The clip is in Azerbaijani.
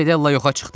Fedella yoxa çıxdı.